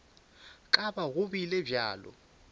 ka ba go bile bjalo